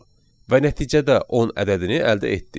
Və nəticədə 10 ədədini əldə etdik.